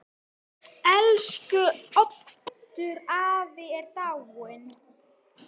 Elsku Oddur afi er dáinn.